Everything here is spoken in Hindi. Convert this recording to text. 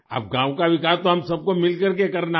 अब गाँव का विकास तो हम सबको मिलकर के करना है